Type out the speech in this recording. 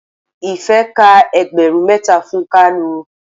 Ife ka ẹgbẹrun mẹ́ta fún kalu.